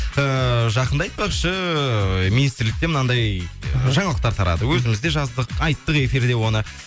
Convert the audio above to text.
ііі жақында айтпақшы министрліктен мынандай жаңалықтар тарады өзіміз де жаздық айттық эфирде оны